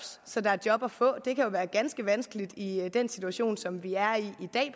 så der er job at få det kan jo være ganske vanskeligt i den situation som vi er i i